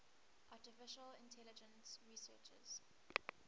artificial intelligence researchers